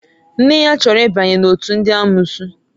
Nne ya chọrọ ịbanye n'òtù ndị amụụsụ.